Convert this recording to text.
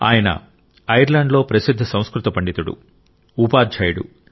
ఆయన ఐర్లాండ్లో ప్రసిద్ధ సంస్కృత పండితుడు ఉపాధ్యాయుడు